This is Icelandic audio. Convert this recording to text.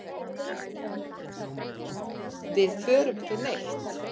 Við förum ekki neitt.